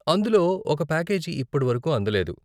అందులో ఒక పాకేజీ ఇప్పటివరకు అందలేదు.